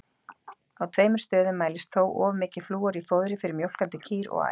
Á tveimur stöðum mælist þó of mikið flúor í fóðri fyrir mjólkandi kýr og ær.